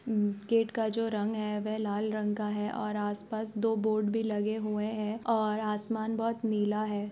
अम्म gate का जो रंग है वह लाल रंग का है और आस पास दो बोर्ड भी लगे हुए हैं और आसमान बहुत नीला है।